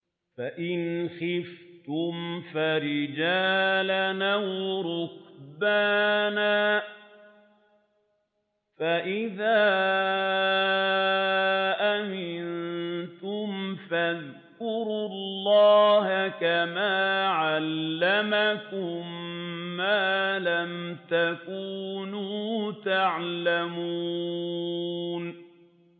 فَإِنْ خِفْتُمْ فَرِجَالًا أَوْ رُكْبَانًا ۖ فَإِذَا أَمِنتُمْ فَاذْكُرُوا اللَّهَ كَمَا عَلَّمَكُم مَّا لَمْ تَكُونُوا تَعْلَمُونَ